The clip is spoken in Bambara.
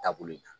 Taabolo in kan